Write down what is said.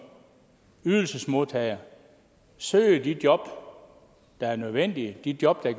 ydelsesmodtager søger de job der er nødvendige de job der